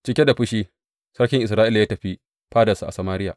Cike da fushi, sarkin Isra’ila ya tafi fadarsa a Samariya.